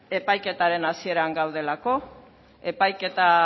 epaiketaren hasieran gaudelako epaiketa